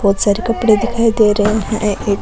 बहोत सारे कपडे दिखाई दे रहे है और एक --